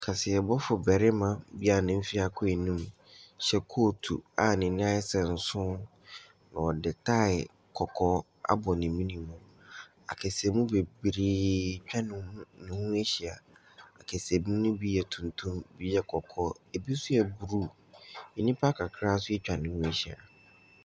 Kaseɛbɔfo barima bi a ne mfeɛ akɔ anim hyɛ kootu a ani sɛ nson, na ɔde taae kɔkɔɔ abɔ ne menemu. Akasamu bebree atwa ne ho ne ho ahyia, akasamu ne bi yɛ tuntum, bi yɛ kɔkɔɔ, bi nso yɛ blue, nnipa kakra nso atwa ne ho ahyia.